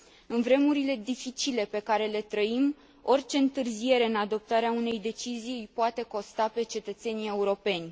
În vremurile dificile pe care le trăim, orice întârziere în adoptarea unei decizii îi poate costa pe cetățenii europeni.